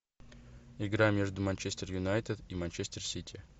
игра между манчестер юнайтед и манчестер сити